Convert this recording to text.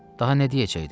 Daha nə deyəcəkdim?